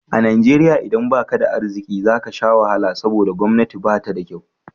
A Najeriya idan baka da arziki zaka sha wahala saboda gwamnati ba ta da kyau